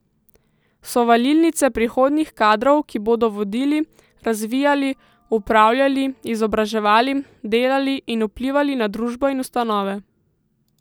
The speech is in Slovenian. So valilnice prihodnjih kadrov, ki bodo vodili, razvijali, upravljali, izobraževali, delali in vplivali na družbo in ustanove.